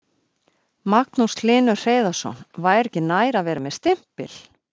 Magnús Hlynur Hreiðarsson: Væri ekki nær að vera með stimpil?